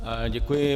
Děkuji.